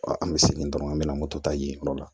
An bɛ segin dɔrɔn an bɛ na moto ta yen yɔrɔ la